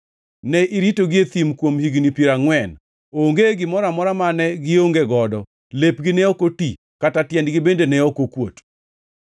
Ne iritogi e thim kuom higni piero angʼwen; onge gimoro amora mane gionge godo, lepgi ne ok oti kata tiendegi bende ne ok okuot.